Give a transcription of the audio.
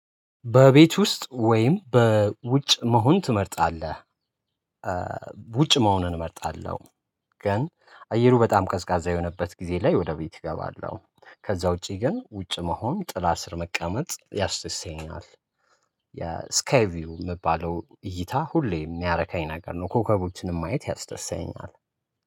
በቤት ውስጥ ወይም በውጭ መሆን ትመርጣለህ? ውጭ መሆንን እመርጣለሁ። ግን አየሩ በጣም ቀዝቃዛ የሆነበት ጊዜ ላይ ወደ ቤቴ እገባለሁ ከዛ ውጪ ግን ውጭ መሆን ጥላ ስር መቀመጥ ያስደስተኛል። የስካይ ቪው የሚባለው እይታ ሁሌ የሚያረካኝ ነገር ነው። ኮከቦችንም ማየት ያስደስተኛል